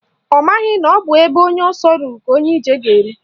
Ọ maghị na ọ bụ ebe onye ọsọ rụrụ ka onye ije ga-eru